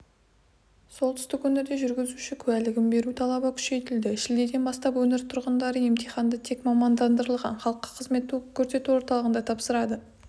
солтүстік өңірде жүргізуші куәлігін беру талабы күшейтілді шілдеден бастап өңір тұрғындары емтиханды тек мамандандырылған халыққа қызмет көрсету орталығында тапсырады